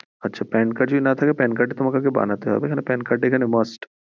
আচ্ছা pan card যদি না থাকে তাহলে বানাতে হবে কারণ pan card এখানে must. .